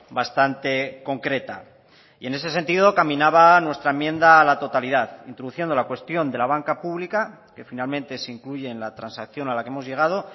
bastante concreta y en ese sentido caminaba nuestra enmienda a la totalidad introduciendo la cuestión de la banca pública que finalmente se incluye en la transacción a la que hemos llegado